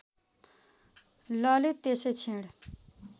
ललित त्यसै क्षण